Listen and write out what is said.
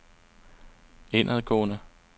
indadgående